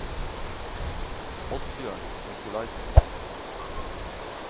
Oddbjørn Nicolaysen